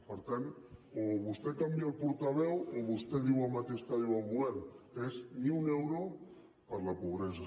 per tant o vostè canvia el portaveu o vostè diu el mateix que diu el govern que és ni un euro per a la pobresa